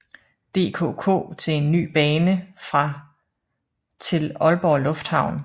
DKK til en ny bane fra til Aalborg Lufthavn